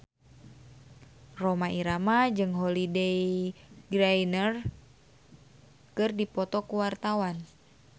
Rhoma Irama jeung Holliday Grainger keur dipoto ku wartawan